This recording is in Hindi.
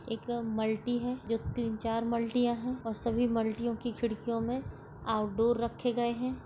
एकदम मल्टी है जो तीन चार मल्टीयाँ है और सभी मल्टीयो के खिड़कियों में आउटडोर रखे गए है।